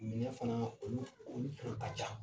Minɛn fana olu olu fana ka ca